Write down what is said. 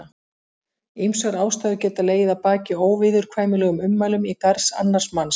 Ýmsar ástæður geta legið að baki óviðurkvæmilegum ummælum í garð annars manns.